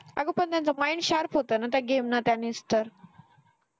अगं पण त्यांच mind sharp होतं ना त्या game ने त्यानेच तर